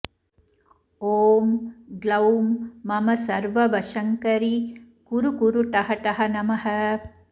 ॐ ग्लौं ममसर्ववशङ्करि कुरु कुरु ठः ठः नमः